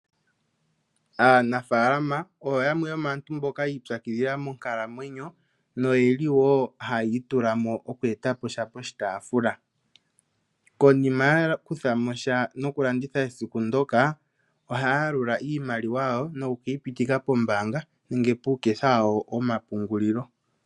Aanafalama oyo yamwe yomaantu mbika yiipyakidhila monkalamwenyo noyeli wo hayi itulamo mokwetaposha poshitaafula konima yakuthamosha mokulanditha esiku ndoka ohaa yalula iimaliwa yawo nokukeyi hitika kombaanga nge puuketha wawo womapungulilo.